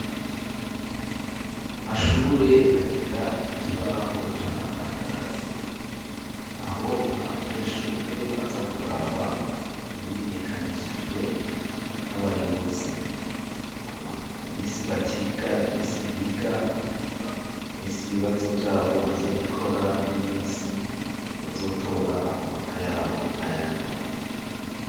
Amashure agira ikibaho c'amatangazo aho abanyeshure baza kuraba ibimenyekanishijwe n'abayobozi imisi batiga, imisi biga, imisi ibibazo vyabo bazobikora n'imisi bazotora amanota yabo n'ayandi makuru.